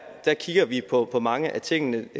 kigger vi på på mange af de ting